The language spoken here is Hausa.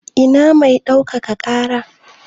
Ina mai ɗaukaka ƙara?